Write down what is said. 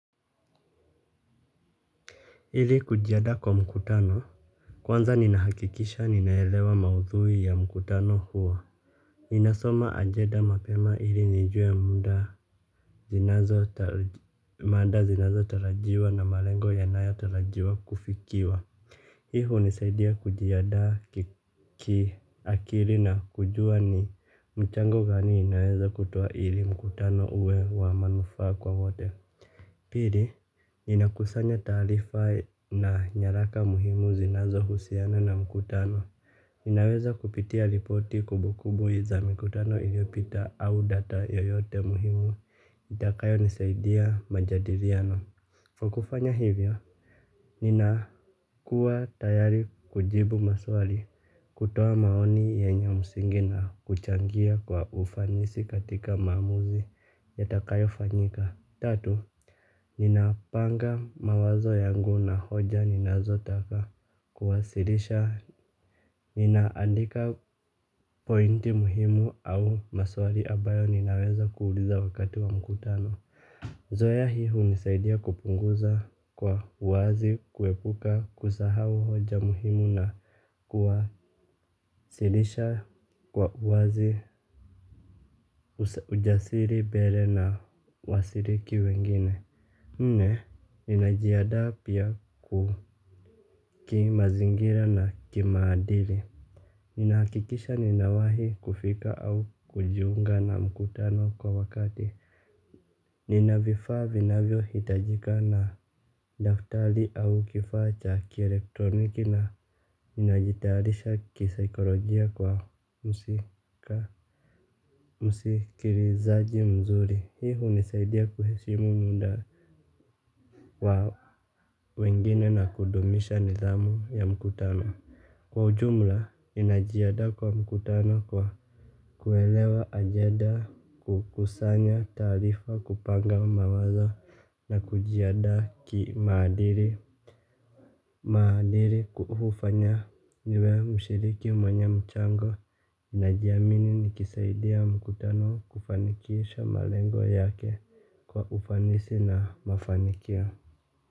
Ili kujiadaa kwa mkutano kwanza ninahakikisha ninaelewa maudhui ya mkutano huo ninasoma ajeda mapema ili nijue mada zinazotalajiwa na malengo yanayotalajiwa kufikiwa hi hunisaidia kujiadaa kiakiri na kujua ni mchango gani ninaweza kutoa ili mkutano uwe wa manufaa kwa wote. Pili, ninakusanya taalifa na nyaraka muhimu zinazohusiana na mkutano. Ninaweza kupitia ripoti kubukubu za mikutano iliopita au data yoyote muhimu itakayonisaidia majadiriano. Kwa kufanya hivyo, ninakuwa tayari kujibu maswali kutoa maoni yenye msingi na kuchangia kwa ufanisi katika maamuzi yatakayofanyika. Tatu, ninapanga mawazo yangu na hoja ninazotaka kuwasilisha ninaandika pointi muhimu au maswali abayo ninaweza kuuliza wakati wa mkutano. Zoya hii hunisaidia kupunguza kwa uwazi kuepuka kusahao hoja muhimu na kuwasilisha kwa uwazi ujasiri bele na wasiriki wengine. Nne, ninajiadaa pia ku kimazingira na kimaadili. Ninahakikisha ninawahi kufika au kujiunga na mkutano kwa wakati. Nina vifaa vinavyohitajika na daftali au kifaa cha kielektroniki na ninajitayalisha kisaikolojia kwa msika. Msikirizaji mzuri hii hunisaidia kuheshimu muda wa wengine na kudumisha nidhamu ya mkutano. Kwa ujumla ninajiadaa kwa mkutano kwa kuelewa ajeda kukusanya taarifa kupanga mawazo na kujiadaa kimaadiri. Maadiri ku hufanya niwe mshiriki mwenye mchango. Najiamini nikisaidia mkutano kufanikisha malengo yake kwa ufanisi na mafanikio.